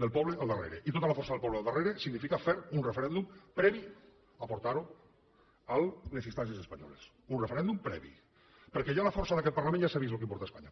del poble al darrere i tota la força del poble al darrere significa fer un referèndum previ a portar ho a les instàncies espanyoles un referèndum previ perquè la força d’aquest parlament ja s’ha vist el que importa a espanya